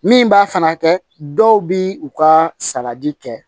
Min b'a fana kɛ dɔw bi u ka salati kɛ